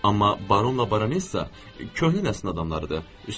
Amma Baronla Baronessa köhnə nəsilin adamlarıdır.